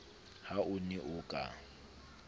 ha o ne o ka